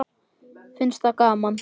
Finnst það gaman.